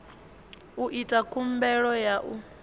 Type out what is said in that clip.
u ita khumbelo ya u